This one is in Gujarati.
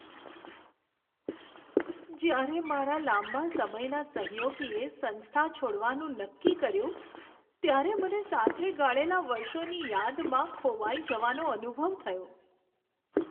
જ્યારે મારા લાંબા સમયના સહયોગીએ સંસ્થા છોડવાનું નક્કી કર્યું ત્યારે મને સાથે ગાળેલાં વર્ષોની યાદમાં ખોવાઈ જવાનો અનુભવ થયો.